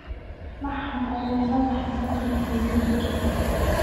maxan axa madaxa macron ayu yiri